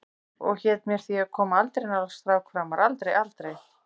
Og hét mér því að koma aldrei nálægt strák framar, aldrei, aldrei.